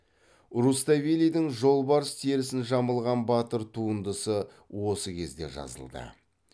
руставелидің жолбарыс терісін жамылған батыр туындысы осы кезде жазылды